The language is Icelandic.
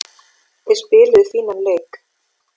Þeir spiluðu fínan leik.